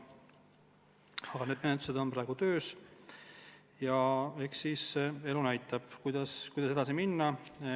Aga need menetlused on praegu töös ja eks elu näitab, kuidas edasi minna.